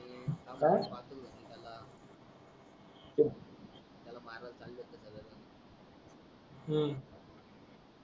हम्म